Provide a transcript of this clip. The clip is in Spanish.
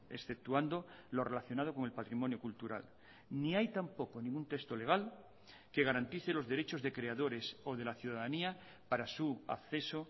exceptuando lo relacionado con el patrimonio cultural ni hay tampoco ningún texto legal que garantice los derechos de creadores o de la ciudadanía para su acceso